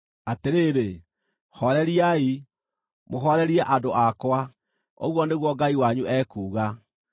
Atĩrĩrĩ, hooreriai, mũhoorerie andũ akwa, ũguo nĩguo Ngai wanyu ekuuga.